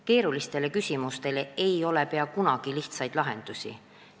Keerulistele küsimustele ei ole peaaegu kunagi lihtsaid vastuseid.